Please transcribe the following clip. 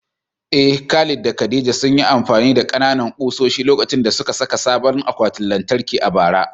Eh, Khalid da Khadija sun yi amfani da ƙananan ƙusoshi lokacin da suka saka sabon akwatin lantarki a bara.